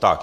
Tak.